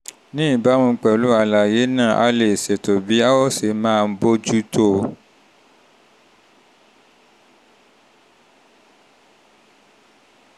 ní ìbámu pẹ̀lú àlàyé náà a lè ṣètò bí a ó ṣe máa bójú tó o